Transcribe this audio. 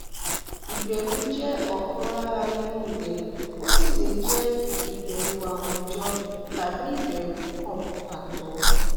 ìbẹrù jẹ ọkan lára irú rẹ ó sì lè jẹ ìbẹrù àwùjọ tàbí ìbẹrù kan pàtó